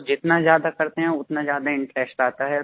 तो जितना ज्यादा करते हैं उतना ज्यादा इंटरेस्ट आता